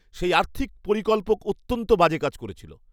সেই আর্থিক পরিকল্পক অত্যন্ত বাজে কাজ করেছিল।